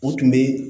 U tun bɛ